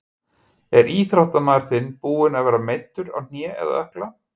Er íþróttamaður þinn búinn að vera meiddur á hné eða ökkla?